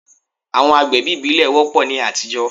Àwọn àgbẹ̀bí ìbílẹ̀ wọ́pọ̀ ní àtijọ́.